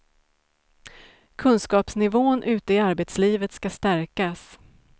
Kunskapsnivån ute i arbetslivet ska stärkas.